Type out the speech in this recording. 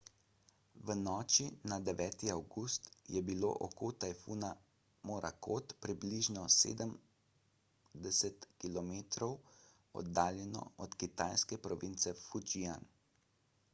v noči na 9 avgust je bilo oko tajfuna morakot približno sedemdeset kilometrov oddaljeno od kitajske province fujian